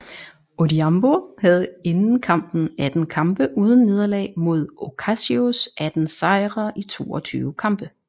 Odhiambo havde inden kampen 18 kampe uden nederlag mod Ocasios 18 sejre i 22 kampe